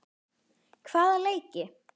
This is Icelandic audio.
Hvaða leiki?